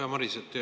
Hea Maris!